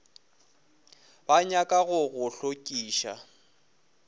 ba nyaka go go hlokiša